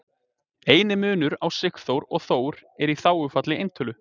eini munur á sigurþór og þór er í þágufalli eintölu